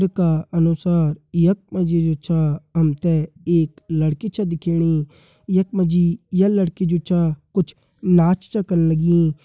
का अनुसार यक मजी जु छ अमते एक लड़की छ दिखेणी। यक मजी ये लड़की जु छ कुछ नाच च कन लगीं।